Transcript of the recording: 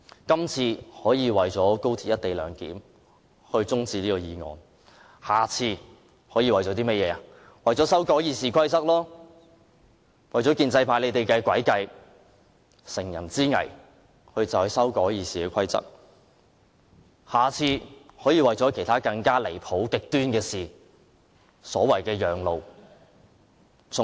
今次可以為了高鐵"一地兩檢"中止辯論此項法案，下次可以為了修改《議事規則》，為了讓建制派乘人之危的詭計得逞，或為了其他更離譜、更極端的事而要求立法會讓路。